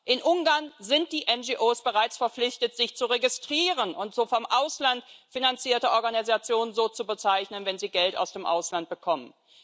In Ungarn sind die NGOs bereits verpflichtet, sich zu registrieren und vom Ausland finanzierte Organisationen so zu bezeichnen, wenn sie Geld aus dem Ausland bekommen.